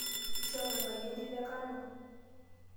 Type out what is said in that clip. Ishomo enkaji entito e kano.